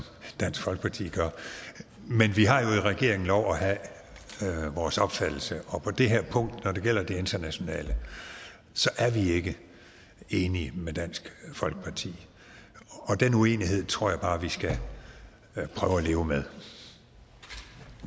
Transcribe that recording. dansk folkeparti gør men vi har jo i regeringen lov at have vores opfattelse og på det her punkt når det gælder det internationale så er vi ikke enige med dansk folkeparti og den uenighed tror jeg bare vi skal prøve at leve med